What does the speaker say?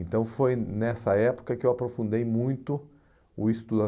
Então foi nessa época que eu aprofundei muito o estudo.